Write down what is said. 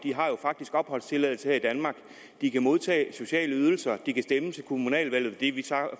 faktisk har opholdstilladelse her i danmark de kan modtage sociale ydelser de kan stemme til kommunalvalgene det er vi